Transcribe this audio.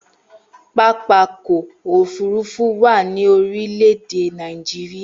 Pápákọ̀ òfúrufú wà ní orílẹ̀-èdè Nàìjíríà.